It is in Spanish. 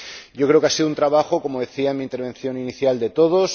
Yo creo que ha sido un trabajo, como decía en mi intervención inicial, de todos.